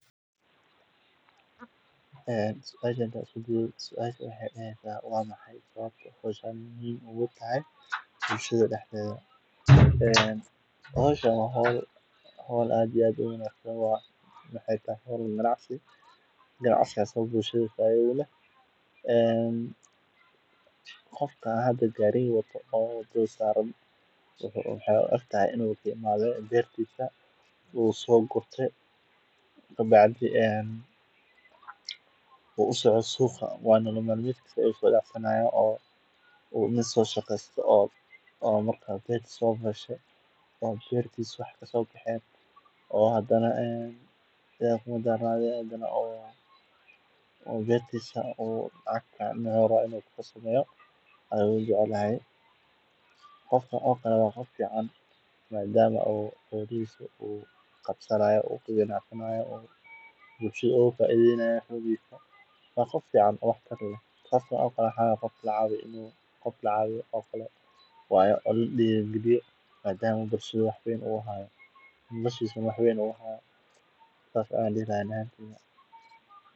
Gaariga khudradda lagu geeyo suuqa wuxuu leeyahay door muhiim ah oo lagu taageerayo silsiladda sahayda cunnada gaar ahaan beeraleyda iyo ganacsatada. Gaarigani wuxuu fududeeyaa in khudradda laga soo qaado meelaha beeraleyda ay ku beeraan una geeyo suuqyada waaweyn ama kuwa yar-yar halkaas oo lagu iibiyo. Isticmaalka gaariga wuxuu yareeyaa khasaaraha ku dhaca khudradda inta lagu jiro safarka, gaar ahaan haddii uu gaarigu leeyahay qaboojiye ama meel ku habboon kaydinta.